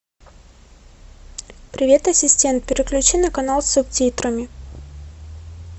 привет ассистент переключи на канал с субтитрами